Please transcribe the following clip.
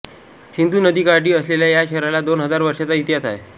सिंधु नदीकाठी असलेल्या या शहराला दोन हजार वर्षांचा इतिहास आहे